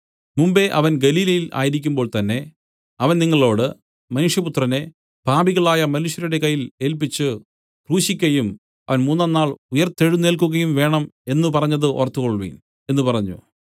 മുമ്പെ അവൻ ഗലീലയിൽ ആയിരിക്കുമ്പോൾ തന്നേ അവൻ നിങ്ങളോടു മനുഷ്യപുത്രനെ പാപികളായ മനുഷ്യരുടെ കയ്യിൽ ഏല്പിച്ചു ക്രൂശിക്കയും അവൻ മൂന്നാം നാൾ ഉയിർത്തെഴുന്നേൽക്കുകയും വേണം എന്നു പറഞ്ഞത് ഓർത്തുകൊൾവിൻ എന്നു പറഞ്ഞു